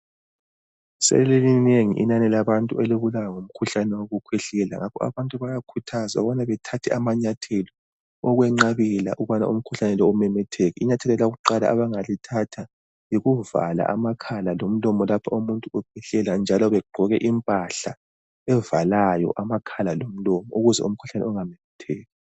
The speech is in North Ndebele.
Selilinengi inani labantu elibulawa ngumkhuhlane wokukhwehlela. Ngakho abantu bayakhuthazwa ukubana bethathe amanyathelo ukwenqabela ukubana umkhuhlane lo umemetheke. Inyathelo lakuqala abangalithatha yikuvala amakhala lomlomo lapho umuntu ekhwehlela njalo begqoke impahla evalayo amakhala lomlomo ukuze umkhuhlane ungamemetheki.